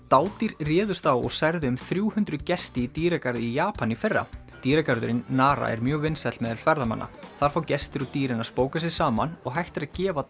dádýr réðust á og særðu um þrjú hundruð gesti í dýragarði í Japan í fyrra dýragarðurinn Nara er mjög vinsæll meðal ferðamanna þar fá gestir og dýrin að spóka sig saman og hægt er að gefa